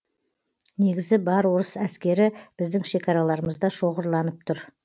негізі бар орыс әскері біздің шекараларымызда шоғырланып тұр